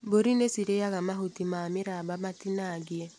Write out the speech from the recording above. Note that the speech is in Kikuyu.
Mbũri nĩcirĩaga mahuti ma mĩramba matinangie.